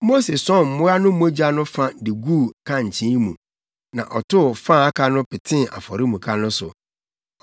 Mose sɔn mmoa no mogya no fa de guu nkankyee mu, na ɔtow fa a aka no petee afɔremuka no so.